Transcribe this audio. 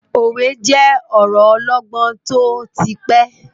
Òwe je ọ̀rọ ọlọgbọ́n tó ti pẹ́.